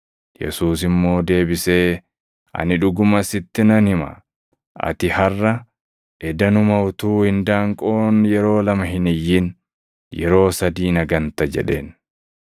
Yesuus immoo deebisee, “Ani dhuguma sitti nan hima; ati harʼa, edanuma utuu indaanqoon yeroo lama hin iyyin, yeroo sadii na ganta” jedheen.